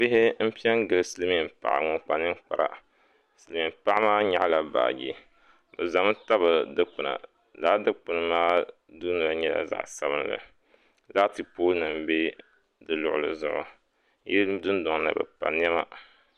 Bihi n piɛ n gili silmiin paɣa ŋun kpa ninkpara silmiin paɣa maa nyaɣala baaji bi ʒɛmi tabi dikpuna laa dikpuna maa dunoli nyɛla zaɣ sabinli laati pool nim bɛ di luɣuli zuɣu yili dundoŋ ni bi pa niɛma